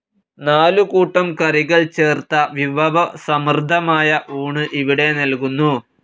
നാലു കൂട്ടം കറികൾ ചേർത്ത വിഭവസമൃദ്ധമായ ഊണ് ഇവിടെ നൽകുന്നു.